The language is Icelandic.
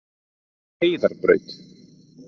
Heiðarbraut